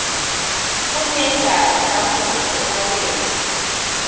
kunendali namuhla emakethe